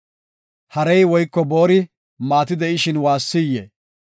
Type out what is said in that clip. Harey woyko boori maati de7ishin waassiyee?